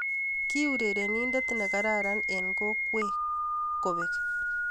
Kii urereninte ne kararan eng kokwee kobek.